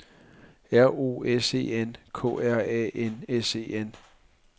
R O S E N K R A N S E N